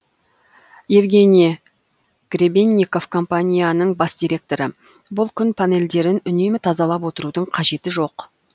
евгений гребенников компанияның бас директоры бұл күн панельдерін үнемі тазалап отырудың қажеті жоқ